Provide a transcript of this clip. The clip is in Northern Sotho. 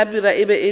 hlabirwa e be e le